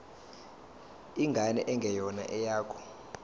ingane engeyona eyakho